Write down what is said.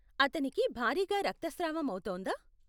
అతనికి భారీగా రక్తస్రావం అవుతోందా?